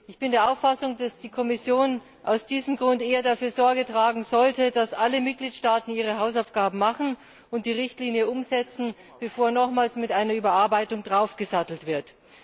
Ich bin der Auffassung, dass die Kommission aus diesem Grund eher dafür Sorge tragen sollte, dass alle Mitgliedstaaten ihre Hausaufgaben machen und die Richtlinie umsetzen, bevor nochmals mit einer Überarbeitung draufgesattelt wird.